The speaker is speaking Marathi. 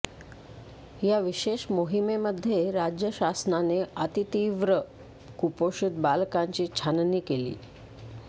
या विशेष मोहिमेमध्ये राज्य शासनाने अतितीव्र कुपोषित बालकांची छाननी केली